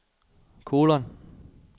kolon